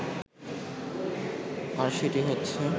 আর সেটি হচ্ছে